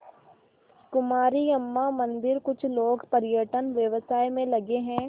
कुमारी अम्मा मंदिरकुछ लोग पर्यटन व्यवसाय में लगे हैं